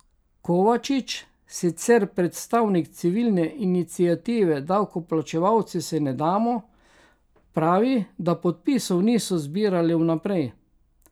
Kovačič, sicer predstavnik civilne iniciative Davkoplačevalci se ne damo, pravi, da podpisov niso zbirali vnaprej.